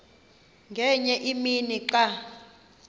ngenye imini xa